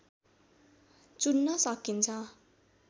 चुन्न सकिन्छ